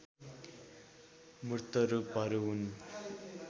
मूर्त रूपहरू हुन्